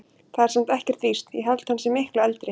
Það er samt ekkert víst. ég held að hann sé miklu eldri.